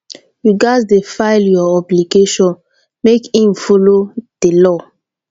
yu gats dey file yur obligations mek im follow di law